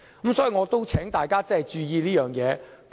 所以，我請大家注意這方面的影響。